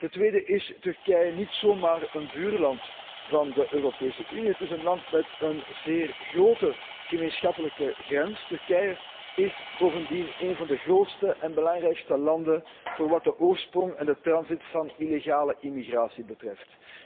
En ten tweede is Turkije niet zomaar een buurland van de Europese Unie. Het is een land met een zeer grote gemeenschappelijke grens. Turkije is bovendien een van de grootste en belangrijkste landen wat de oorsprong en de transit van illegale immigratie betreft.